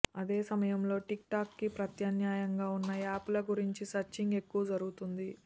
అదే సమయంలో TikTok కి ప్రత్యామ్నాయంగా ఉన్న యాప్ ల గురించి సెర్చింగ్ ఎక్కువ జరుగుతుంది